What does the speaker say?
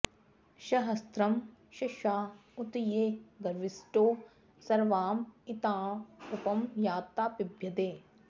स॒हस्रं॒ शंसा॑ उ॒त ये गवि॑ष्टौ॒ सर्वाँ॒ इत्ताँ उप॑ याता॒ पिब॑ध्यै